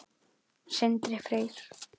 Sindri Freyr.